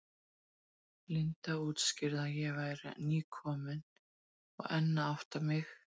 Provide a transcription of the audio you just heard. Linda útskýrði að ég væri nýkomin og enn að átta mig.